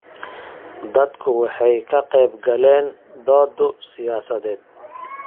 Dadku waxay ka qaybgaleen doodo siyaasadeed.